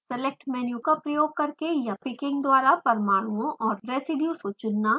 select menu का प्रयोग करके या picking द्वारा परमाणुओं और रेज़ीडियुज़ को चुनना